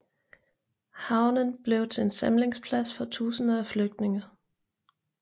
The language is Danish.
Havnen blev til en samlingsplads for tusinder af flygtninge